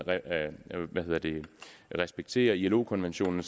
respektere ilo konvention